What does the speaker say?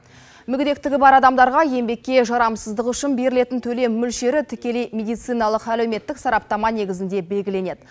мүгедектігі бар адамдарға еңбекке жарамсыздығы үшін берілетін төлем мөлшері тікелей медициналық әлеуметтік сараптама негізінде белгіленеді